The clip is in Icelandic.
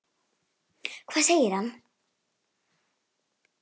Hvað segir hann?